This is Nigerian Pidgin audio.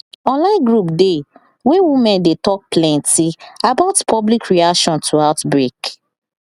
online group dey wey women dey talk plenty about public reaction to outbreak